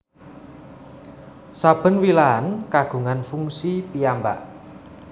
Saben wilahan kagungan fungsi piyambak